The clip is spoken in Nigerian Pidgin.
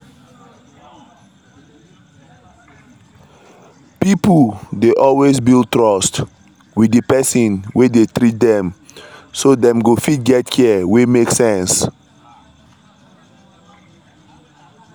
pipo dey always build trust with the person wey dey treat them so them go fit get care wey make sense.